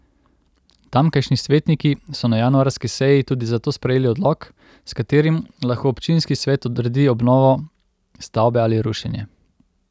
Tamkajšnji svetniki so na januarski seji tudi zato sprejeli odlok, s katerim lahko občinski svet odredi obnovo stavbe ali rušenje.